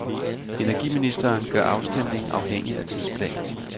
Energiministeren gør afstemning afhængig af tidsplan.